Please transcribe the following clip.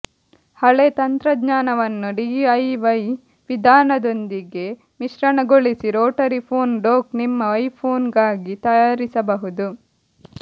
ಹಳೆ ತಂತ್ರಜ್ಞಾನವನ್ನು ಡಿಐವೈ ವಿಧಾನದೊಂದಿಗೆ ಮಿಶ್ರಣಗೊಳಿಸಿ ರೊಟರಿ ಫೋನ್ ಡೊಕ್ ನಿಮ್ಮ ಐಫೋನ್ ಗಾಗಿ ತಯಾರಿಸಬಹುದು